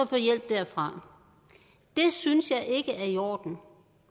få hjælp derfra det synes jeg ikke er i orden